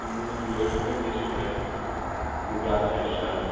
No mundo de hoje não existe mais lugar fechado.